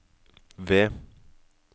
ved